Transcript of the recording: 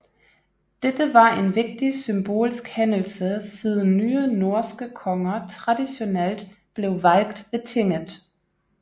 Dette var en vigtig symbolsk hændelse siden nye norske konger traditionelt blev valgt ved tinget